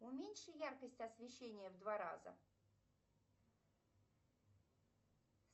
уменьши яркость освещения в два раза